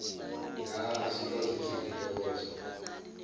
dha azobasiza ngentokozo